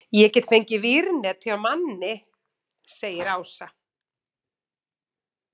Ég get fengið vírnet hjá manni segir Ása.